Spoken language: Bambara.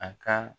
A ka